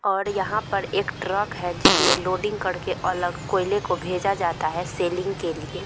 और यहां पर एक ट्रक है जिसमें लोडिंग करके अलग कोयले को भेजा जाता है सेलिंग के लिए।